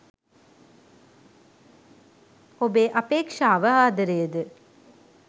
ඔබේ අපේක්ෂාව ආදරයද?